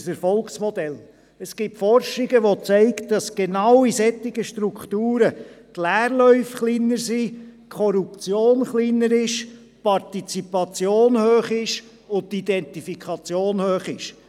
Forschungen zeigen, dass genau in solchen Strukturen die Leerläufe und die Korruption kleiner und die Partizipation und die Identifikation hoch sind.